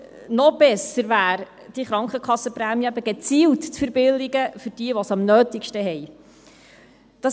Noch besser wäre es, die Krankenkassenprämien gezielt für diejenigen zu verbilligen, die es am nötigsten haben.